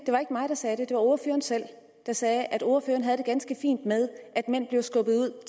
mig der sagde det det var ordføreren selv der sagde at ordføreren har det ganske fint med at mænd bliver skubbet ud